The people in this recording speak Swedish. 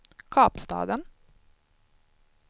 Kapstaden